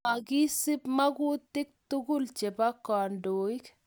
maakisup makutik tukul chebo kandoik